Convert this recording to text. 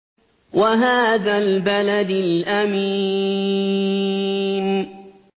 وَهَٰذَا الْبَلَدِ الْأَمِينِ